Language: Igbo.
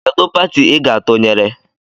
Kedụ pati I ga atụnyere?